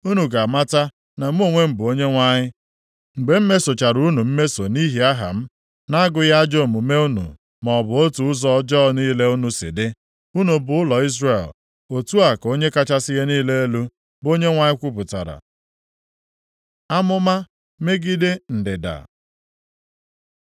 Unu ga-amata na mụ onwe m bụ Onyenwe anyị, mgbe m mesochara unu mmeso nʼihi aha m, na-agụghị ajọ omume unu maọbụ otu ụzọ ọjọọ niile unu si dị, unu bụ ụlọ Izrel. Otu a ka Onye kachasị ihe niile elu, bụ Onyenwe anyị kwupụtara.’ ” Amụma megide ndịda